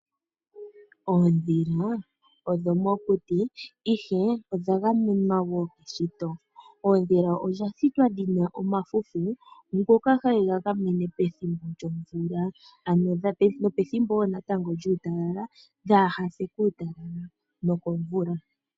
Oondhila odho mokuti ihe odha gamenwa wo keshito. Oondhila odha shitwa dhina omalwenya ngoka haye ga gamene pethimbo lyomvula, nopethimbo wo lyuutalala, dhaase kuutalala nokomvula.